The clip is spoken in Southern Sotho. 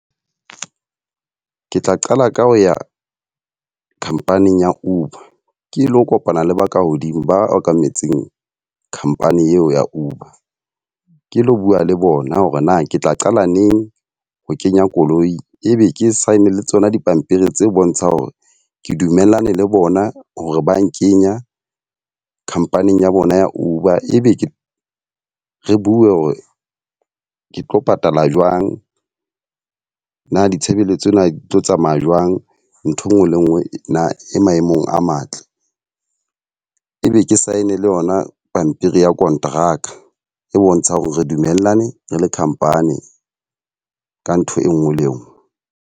Ke tla qala ka ho ya khampaning ya Uber, ke lo kopana le baka hodimo ba okametseng khampani eo ya Uber. Ke lo bua le bona hore na ke tla qala neng ho kenya koloi e be ke sign le tsona dipampiri tse bontshang hore ke dumellane le bona hore ba nkenya khampaning ya bona ya Uber. Ebe ke re bue hore ke tlo patala jwang. Na ditshebeletso na di tlo tsamaya jwang? Ntho e nngwe le nngwe na e maemong a matle? E be ke sign le yona pampiri ya konteraka e bontshang hore re dumellane re le khampani ka ntho e nngwe le e nngwe.